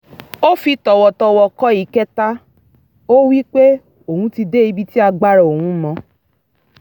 ó fi tọ̀wọ̀tọ̀wọ̀ kọ ìkẹta ó wípé òun ti dé ibi tí agbára òun mọ